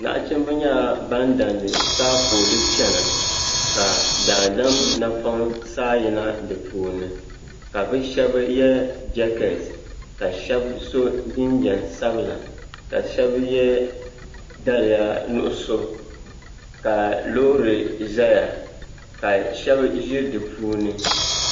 Nachimba nyɛla ban dan di taapooli n chena ka daadam napoŋ saa yina dipuuni ka bɛ sheba ye jeketi ka sheba so jinjiɛm sabila ka sheba ye daliya nuɣuso ka loori zaya ka sheba ʒi dipuuni.